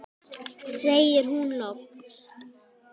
segir hún loks.